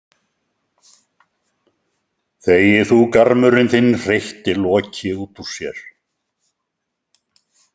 Þegi þú, garmurinn þinn, hreytti Loki út úr sér.